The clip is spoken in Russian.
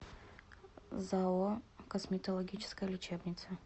зао косметологическая лечебница